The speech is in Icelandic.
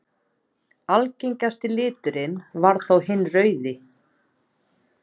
Algengasti liturinn varð þó hinn rauði.